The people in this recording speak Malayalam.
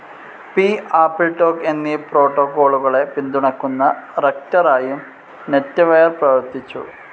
പി., ആപ്പിൾടോക് എന്നീ പ്രോട്ടോകോളുകളെ പിന്തുണയ്ക്കുന്ന റക്റ്ററായും നെറ്റെവെയർ പ്രവർത്തിച്ചു.